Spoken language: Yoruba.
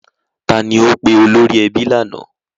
Ta ni ó pe olórí ẹbí lánàá?